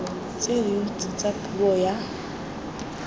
tse dintsi tsa puso ya